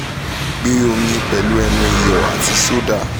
gbe omi pelu enu iyọ ati soda